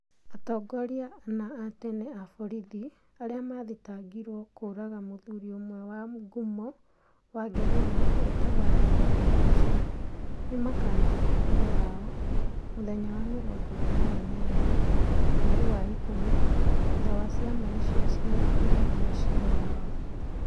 Atongoria ana a tene a borithi arĩa maathitangĩirwo kũũraga mũthuri ũmwe wa ngumo wa Ngeretha wetagwo Alexander Monson nĩ makaamenya ũhoro wao mũthenya wa 28 mweri wa ĩkũmi, thutha wa ciama icio cierĩ kũhingia ciira wao.